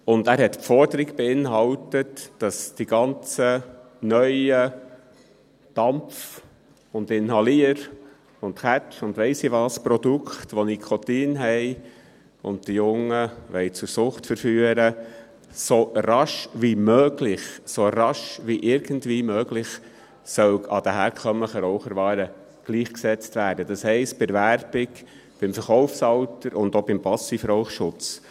Dieser beinhaltete die Forderung, dass die ganzen neuen Dampf-, Inhalier-, Kau- und «Weiss-ich-nicht-was-für»-Produkte, welche Nikotin enthalten und die Jungen zur Sucht verführen wollen, «so rasch wie irgendwie möglich» den herkömmlichen Raucherwaren gleichgesetzt werden sollen, das heisst bei der Werbung, dem Verkaufsalter und auch beim Passivrauchschutz.